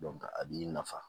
a b'i nafa